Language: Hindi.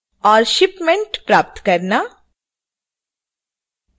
और shipment प्राप्त करना